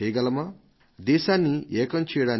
దేశాన్ని ఏకం చేయడానికి ఎలాంటి కార్యక్రమాన్ని రూపొందించగలం